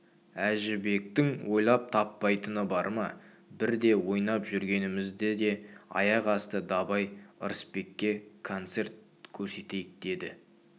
әжібектің ойлап таппайтыны бар ма бірде ойнап жүргенімізде аяқ асты дабай ырысбекке концерт көрсетейік деді